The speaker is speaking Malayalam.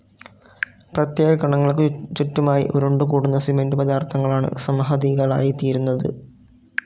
പ്രത്യേക കണങ്ങൾക്കു ചുറ്റുമായി ഉരുണ്ടുകൂടുന്ന സിമന്റു പദാർഥങ്ങളാണ് സംഹതികളായിത്തീരുന്നത്.